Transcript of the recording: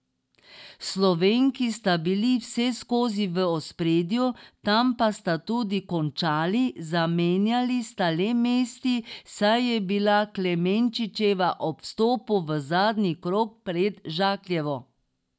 Slovenki sta bili vseskozi v ospredju, tam pa sta tudi končali, zamenjali sta le mesti, saj je bila Klemenčičeva ob vstopu v zadnji krog pred Žakljevo.